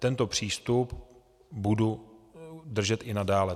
Tento přístup budu držet i nadále.